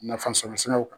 Nafasɔrɔsiraw kan